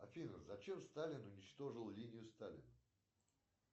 афина зачем сталин уничтожил линию сталина